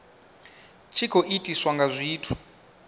tshi khou itiswa nga zwithu